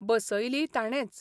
बसयलीय ताणेच.